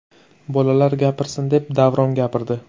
Bolalar gapirsin’ deb Davron gapirdi.